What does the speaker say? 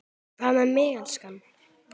Hvað með þig, elskan.